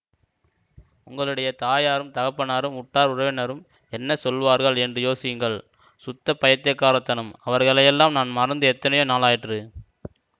உங்களுடைய தாயாரும் தகப்பனாரும் உற்றார் உறவினரும் என்ன சொல்லுவார்கள் என்று யோசியுங்கள் சுத்த பைத்தியக்கார தனம் அவர்களையெல்லாம் நான் மறந்து எத்தனையோ நாளாயிற்று